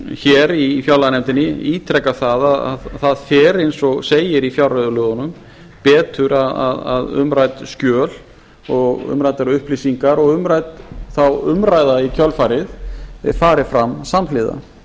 hér í fjárlaganefndinni ítreka það að það fer eins og segir í fjárreiðulögunum betur að umrædd skjöl og umræddar upplýsingar og umrædd þá umræða í kjölfarið fari fram samhliða hef